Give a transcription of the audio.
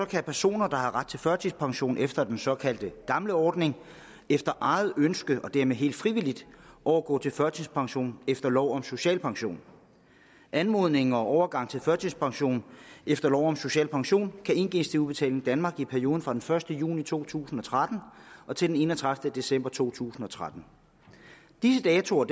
kan personer der har ret til førtidspension efter den såkaldt gamle ordning efter eget ønske og dermed helt frivilligt overgå til førtidspension efter lov om social pension anmodningen om overgang til førtidspension efter lov om social pension kan indgives til udbetaling danmark i perioden fra den første juni to tusind og tretten til den enogtredivete december to tusind og tretten disse datoer